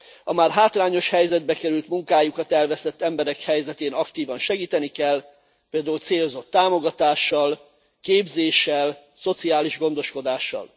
A már hátrányos helyzetbe került, munkájukat elvesztett emberek helyzetén aktívan segíteni kell, például célzott támogatással, képzéssel, szociális gondoskodással.